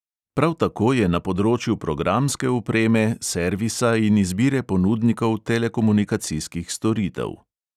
Prav tako je na področju programske opreme, servisa in izbire ponudnikov telekomunikacijskih storitev.